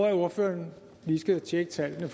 at ordføreren lige skal tjekke tallene